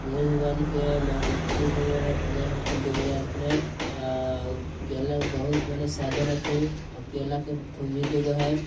अ_अ कैला बहुत मेंने साझा रथे औ कैला के थुम्मी दु गो हैं।